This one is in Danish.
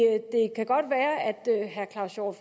herre claus hjort